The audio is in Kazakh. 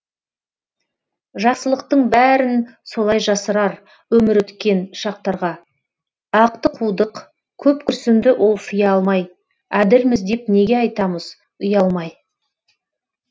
жақсылықтың бәрін солай жасырар өмір өткен шақтарға ақты қудық көп күрсінді ол сыя алмай әділміз деп неге айтамыз ұялмай